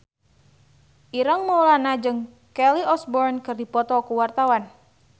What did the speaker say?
Ireng Maulana jeung Kelly Osbourne keur dipoto ku wartawan